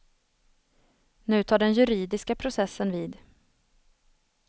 Nu tar den juridiska processen vid.